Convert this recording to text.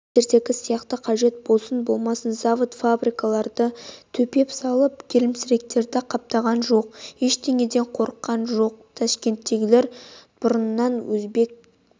сендердегі сияқты қажет болсын-болмасын завод-фабриктерді төпеп салып келімсектерді қаптатқан жоқ ештеңеден қорыққан жоқ ташкент бұрыннан өзбек